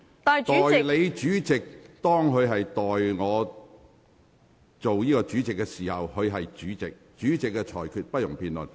當代理主席代我主持會議時，她的身份便是主席，其裁決同樣不容辯論。